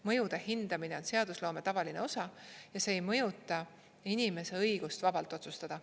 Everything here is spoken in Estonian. Mõjude hindamine on seadusloome tavaline osa ja see ei mõjuta inimese õigust vabalt otsustada.